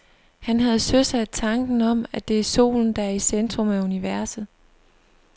Han havde søsat tanken om, at det er solen, der er i centrum af universet.